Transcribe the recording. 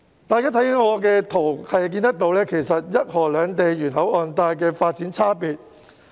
我展示的這些圖片，是要顯示一河兩地沿口岸帶的發展差別。